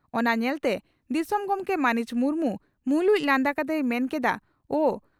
ᱚᱱᱟ ᱧᱮᱞᱛᱮ ᱫᱤᱥᱚᱢ ᱜᱚᱢᱠᱮ ᱢᱟᱹᱱᱤᱡ ᱢᱩᱨᱢᱩ ᱢᱩᱞᱩᱡ ᱞᱟᱸᱫᱟ ᱠᱟᱛᱮᱭ ᱢᱮᱱ ᱠᱮᱫᱼᱟ ᱳ!